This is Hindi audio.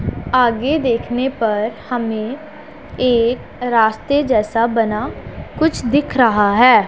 आगे देखने पर हमें एक रास्ते जैसा बना कुछ दिख रहा है।